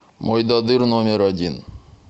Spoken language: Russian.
мойдодыр номер один